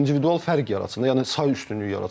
Bəli, individual fərq yaratsın da, yəni say üstünlüyü yaratsın.